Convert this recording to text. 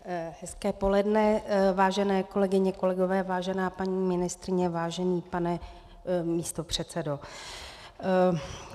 Hezké poledne, vážené kolegyně, kolegové, vážená paní ministryně, vážený pane místopředsedo.